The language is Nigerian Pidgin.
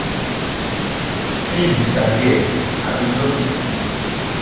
sleep disappear i bin no fit fit sleep